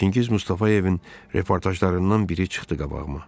Çingiz Mustafayevin reportajlarından biri çıxdı qabağıma.